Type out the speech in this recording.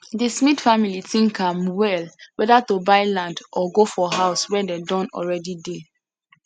the smith family think am well whether to buy land or go for house wey don already dey